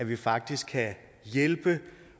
vi faktisk kan hjælpe